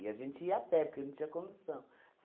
E a gente ia a pé, porque não tinha condução.